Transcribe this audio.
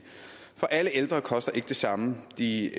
for alle ældre koster ikke det samme de